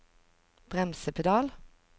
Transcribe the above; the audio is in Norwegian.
bremsepedal